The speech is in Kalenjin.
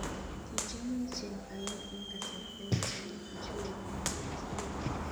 Kichomio ichek aeng eng' kasarta kityo komwochi kole amache kesich lakwet.